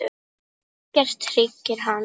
Ekkert hryggir hann.